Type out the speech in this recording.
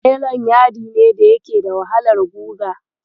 Nelon yadi ne da yake da wahalar guga.